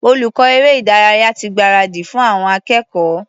Olùkọ́ eré-ìdárayá ti gbáradì fún àwọn akẹ́kọ̀ọ́.